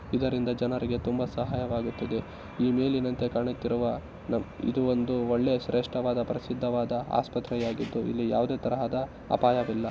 ಇದರಿಂದ ಜನರಿಗೆ ತುಂಬಾ ಸಹಾಯವಾಗುತ್ತದೆ ಈ ಮೇಲಿನಂತೆ ಕಾಣುತ್ತಿರುವ ನ ಇದು ಒಂದು ಒಳ್ಳೆಯ ಶ್ರೇಷ್ಠವಾದ ಪ್ರಸಿದ್ದವಾದ ಆಸ್ಪತ್ರೆಯಾಗಿದ್ದು ಇಲ್ಲಿ ಯಾವುದೇ ತರಹದ ಅಪಾಯವಿಲ್ಲ .